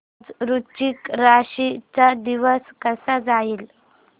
आज वृश्चिक राशी चा दिवस कसा जाईल